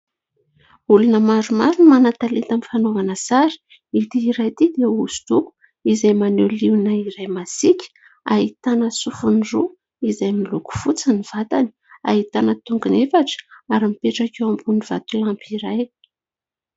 Olona maromaro no manan-taleta amin'ny fanaovana sary. Ity iray ity dia hoso-doko izay maneho liona iray masiaka ahitana sofiny roa izay miloko fotsy ny vatany, ahitana tongony efatra ary mipetraka eo ambonin'ny vatolampy iray.